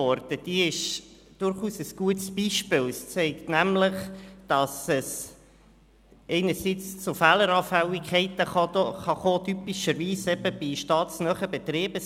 Diese ist durchaus ein gutes Beispiel, welches zeigt, dass es einerseits zu Fehleranfälligkeiten kommen kann, typischerweise bei staatsnahen Betrieben.